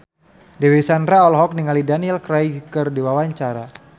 Dewi Sandra olohok ningali Daniel Craig keur diwawancara